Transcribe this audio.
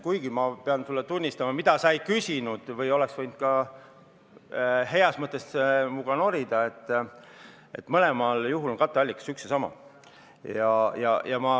Kuigi ma pean sulle tunnistama seda, mida sa ei küsinud , et mõlemal juhul on katteallikas üks ja sama.